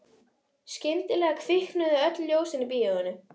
Skyndilega kviknuðu öll ljósin í bíóinu.